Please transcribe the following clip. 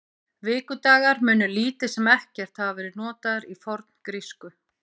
Vikudagar munu lítið sem ekkert hafa verið notaðir í forngrísku.